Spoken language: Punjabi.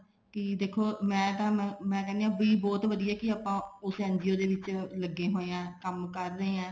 ਕੀ ਦੇਖੋ ਮੈਂ ਤਾਂ ਮੈਂ ਕਹਿਣੀ ਹਾਂ ਬਹੁਤ ਵਧੀਆ ਵੀ ਆਪਾਂ ਉਸ NGO ਦੇ ਵਿੱਚ ਲੱਗੇ ਹੋਏ ਹਾਂ ਕੰਮ ਕਰ ਰਹੇ ਹਾਂ